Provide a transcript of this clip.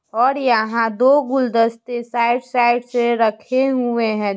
और यहाँ दो गुलदस्ते साइड साइड से रखे हुए हैं।